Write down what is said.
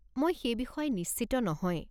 মই সেই বিষয়ে নিশ্চিত নহয়।